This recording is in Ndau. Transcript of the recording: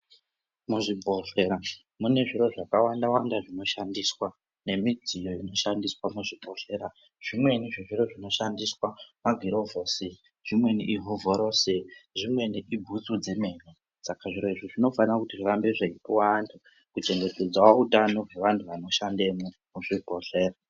Muzvibhedhlera mune zviro zvakawanda -wanda zvinoshandiswa, nemidziyo inoshandiswa muzvibhedhlera. Zvimweni zvezviro zvinoshandiswa magirovhosi, zvimweni ihovhorosi ,zvimweni ibhutsu dzemene. Saka zviro izvi zvinofane kuti zvirambe zveipuwa antu kuchengetedzawo utano hweanhu anoshandemwo muzvibhedhera.